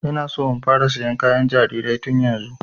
Ina so in fara sayan kayan jarirai tun yanzu